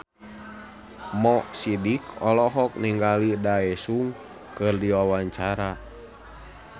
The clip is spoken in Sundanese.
Mo Sidik olohok ningali Daesung keur diwawancara